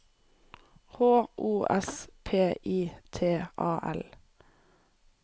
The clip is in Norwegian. H O S P I T A L